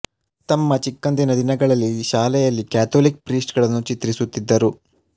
ತಮ್ಮ ಚಿಕ್ಕಂದಿನ ದಿನಗಳಲ್ಲಿ ಶಾಲೆಯಲ್ಲಿ ಕ್ಯಾಥೊಲಿಕ್ ಪ್ರೀಸ್ಟ್ ಗಳನ್ನು ಚಿತ್ರಿಸುತ್ತಿದ್ದರು